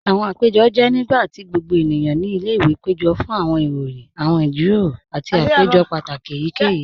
Awọn àpẹ̀jọ́ jẹ́ nígbàtí gbogbo ènìyàn ní ilẹ̀-ìwé pẹ̀jọ̀ fún awọn ìròyìn, awọn ìjíròrò, àti àpẹ̀jọ́ pátákì èyíkèyí.